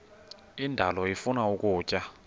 indalo ifuna ukutya